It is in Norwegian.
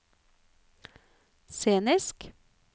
scenisk